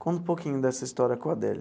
Conta um pouquinho dessa história com Adélia.